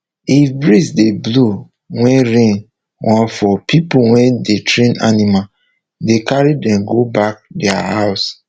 if breeze dey blow wey rain wan fall people wey dey train animal dey carry them go back thier house